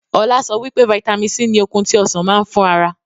Ọlá sọ wípé vitamin C ni okun tí Ọsàn máa ń fún ara.